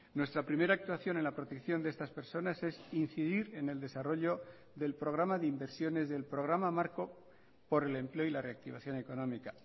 nuestra primera actuación en la protección de estas personas es incidir en el desarrollo del programa de inversiones del programa marco por el empleo y la reactivación económica